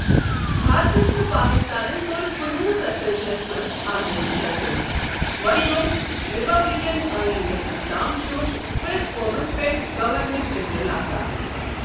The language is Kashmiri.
بھارتن تہٕ پٲکستانن کٔر کُنہ وُہ ستتأجی ہس منٛز آزٲدی حٲصل وۅں گوٚو ریپبلکن آئین لیکھنس تام چھُ پرٛٮ۪تھ قومس پٮ۪ٹھ گورنر جنرل آسان۔